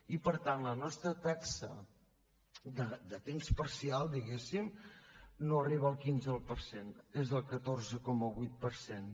i per tant la nostra taxa de temps parcial diguemne no arriba al quinze per cent és del catorze coma vuit per cent